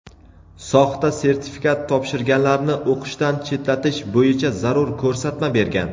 soxta sertifikat topshirganlarni o‘qishdan chetlatish bo‘yicha zarur ko‘rsatma bergan.